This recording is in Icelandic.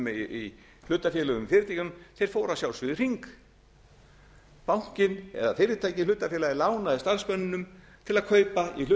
í hlutafélögum í fyrirtækjunum fóru að sjálfsögðu í hring bankinn eða fyrirtækið hlutafélagið lánaði starfsmönnunum til að kaupa